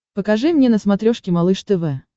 покажи мне на смотрешке малыш тв